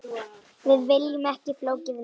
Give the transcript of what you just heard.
Við viljum ekki flókið líf.